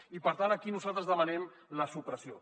i per tant aquí nosaltres en demanem la supressió